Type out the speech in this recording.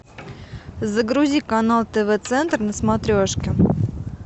загрузи канал тв центр на смотрешке